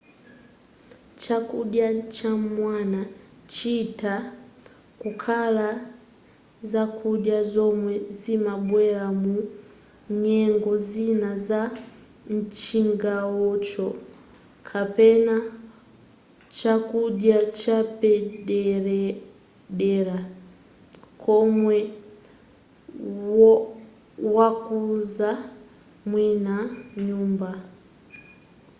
chakudya cham'mawa chitha kukhala zakudya zomwe zimabwera mu nyengo zina za mchigawocho kapena chakudya chapaderadera chomwe wakonza mwini nyumba